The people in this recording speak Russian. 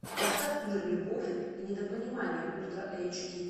поставь мир любовь и недопонимание ультра эйч ди